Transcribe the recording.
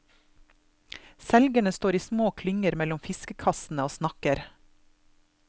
Selgerne står i små klynger mellom fiskekassene og snakker.